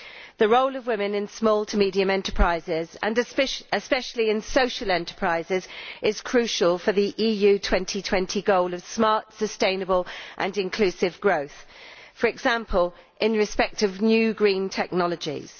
The role of women in small to medium enterprises and especially in social enterprises is crucial for the EU 2020 goal of smart, sustainable and inclusive growth, for example, in respect of new green technologies.